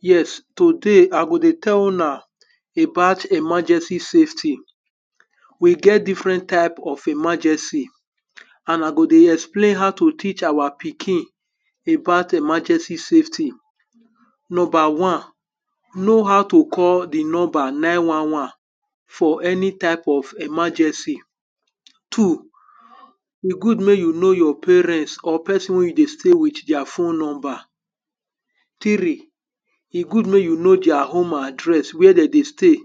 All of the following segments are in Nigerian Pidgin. yes today I go dey tell una about emergency safety. We get differen type of emergency and I go dey explain about how to teach our pikin about emergency safety. Number one, know how to call di number nine wan wan for any type of emergency. Two, e good mek you know your parents or person wey you dey stay with deir phone number. Three, e good mek you know deir home address where de dey stay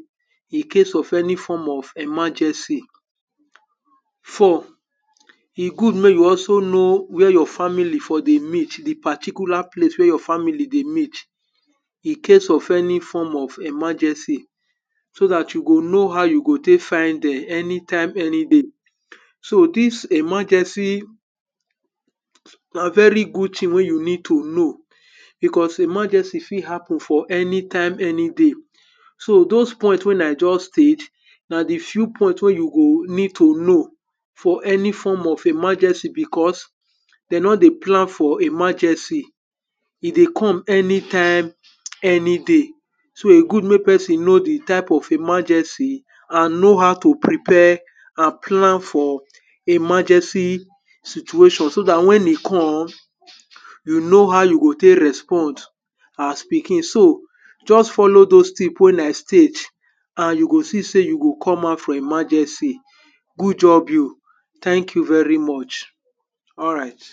Incase of any form of emergency. Four, e good mek you also know where your family for dey met di particular place where you family for dey met Incase of any form of emergency so dat you go know how you go tek find dem anytime any day. So dis emergency na very good thing wey you need to know becos emergency fit happen for anytime any day. So dose point wen I just stage na di few point wey you go need to know for any form of emergency becos dey no dey plan for emergency, e dey come anytime any day so e good mek person know di type of emergency and know how to prepare and plan for emergency situation so dat when e come you know how you go tek respond as pikin. So just follow dose tips wey I state and you go see sey you go come out from emergency. Good job you. Thank you very much. Alright.\